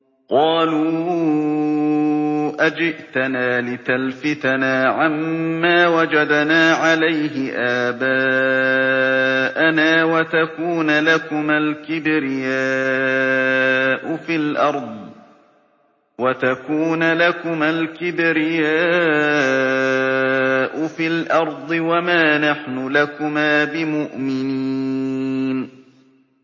قَالُوا أَجِئْتَنَا لِتَلْفِتَنَا عَمَّا وَجَدْنَا عَلَيْهِ آبَاءَنَا وَتَكُونَ لَكُمَا الْكِبْرِيَاءُ فِي الْأَرْضِ وَمَا نَحْنُ لَكُمَا بِمُؤْمِنِينَ